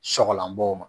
Sɔgɔlanbɔ ma